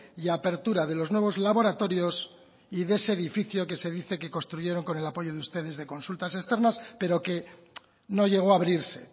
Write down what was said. y apertura de los nuevos laboratorios y de ese edificio que se dice que construyeron con el apoyo de ustedes de consultas externas pero que no llegó a abrirse